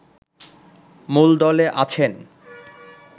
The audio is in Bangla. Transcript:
মূলদলে আছেন